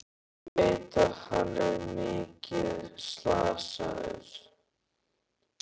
Ég veit að hann er mikið slasaður.